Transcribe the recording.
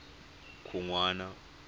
khunwana